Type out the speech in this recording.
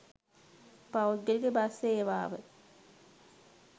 පෞද්ගලික බස් සේවාව